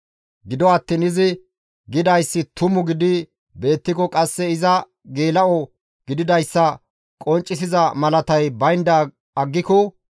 Gido attiin izi gidayssi tumu gidi beettiko qasse iza geela7o gididayssa qonccisiza malatay baynda aggiko,